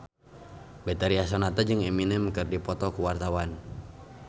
Betharia Sonata jeung Eminem keur dipoto ku wartawan